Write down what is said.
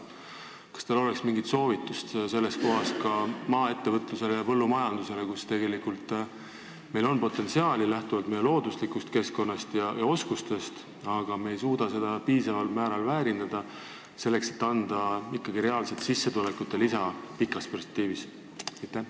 Kas teil oleks siinkohal mingit soovitust maaettevõtlusele ja põllumajandusele, kus meil on potentsiaali lähtuvalt meie looduslikust keskkonnast ja oskustest, aga me ei suuda seda piisaval määral väärindada, selleks et anda ikkagi reaalset sissetulekute lisa pikas perspektiivis?